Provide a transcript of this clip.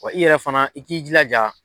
Wa i yɛrɛ fana i k'i jilaja